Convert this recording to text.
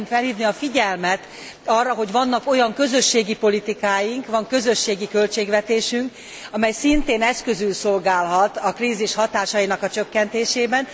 Szeretném felhívni a figyelmet arra, hogy vannak olyan közösségi politikáink, van közösségi költségvetésünk, amely szintén eszközül szolgálhat a krízis hatásainak a csökkentésében.